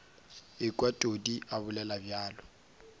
ekwa todi a bolela bjalo